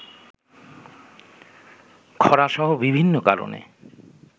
খরাসহ বিভিন্ন কারণে